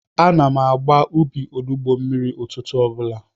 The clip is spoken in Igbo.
Ana m agba ubi onugbo mmiri ụtụtụ obula